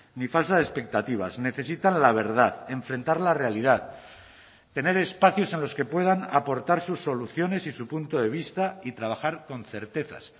ni falsas expectativas necesitan la verdad enfrentar la realidad tener espacios en los que puedan aportar sus soluciones y su punto de vista y trabajar con certezas